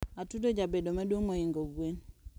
Atudo jabedo maduong mohingo gwen